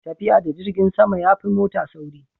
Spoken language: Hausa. tafiya da jirgin sama ya fi mota sauri